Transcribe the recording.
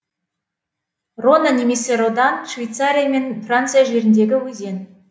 рона немесе рода н швейцария мен франция жеріндегі өзен